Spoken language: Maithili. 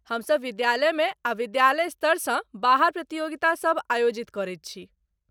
हमसभ विद्यालयमे आ विद्यालय स्तरसँ बाहर प्रतियोगितासभ आयोजित करैत छी।